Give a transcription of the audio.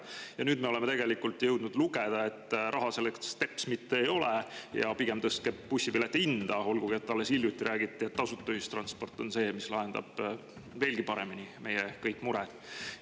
Aga nüüd me oleme jõudnud lugeda, et raha selleks tegelikult teps mitte ei ole ja pigem tõstetakse bussipileti hinda, olgugi et alles hiljuti räägiti, et tasuta ühistransport on see, mis lahendab veel paremini kõik meie mured.